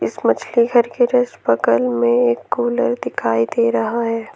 इस मछली घर के जस्ट बगल में एक कूलर दिखाई दे रहा है।